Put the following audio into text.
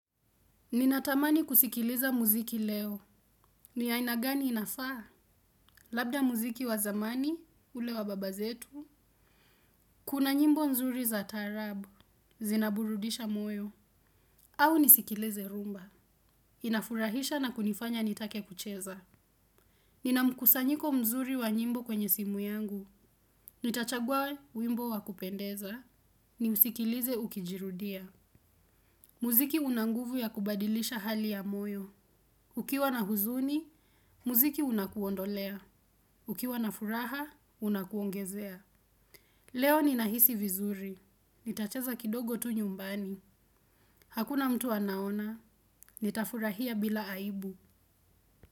Ninatamani kusikiliza muziki leo. Ni aina gani inafaa? Labda muziki wa zamani, ule wa baba zetu. Kuna nyimbo nzuri za tarabu. Zinaburudisha moyo. Au nisikileze rhumba. Inafurahisha na kunifanya nitake kucheza. Nina mkusanyiko mzuri wa nyimbo kwenye simu yangu. Nitachagua wimbo wa kupendeza. Niusikilize ukijirudia. Muziki unanguvu ya kubadilisha hali ya moyo. Ukiwa na huzuni, muziki unakuondolea. Ukiwa na furaha, unakuongezea. Leo ninahisi vizuri. Nitacheza kidogo tu nyumbani. Hakuna mtu anaona. Nitafurahia bila aibu.